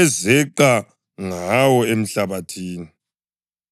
ezeqa ngawo emhlabathini.